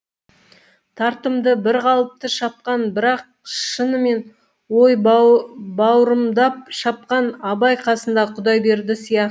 тартымды бір қалыпты шапқан бірақ шынымен ой баурымдап шапқан абай қасындағы құдайберді сияқты